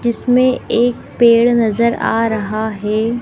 जिसमें एक पेड़ नजर आ रहा है।